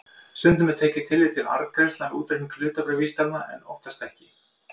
Stundum er tekið tillit til arðgreiðslna við útreikning hlutabréfavísitalna en oftast ekki.